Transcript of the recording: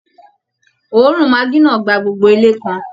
Òórùn maggi náà gba gbogbo ilé kan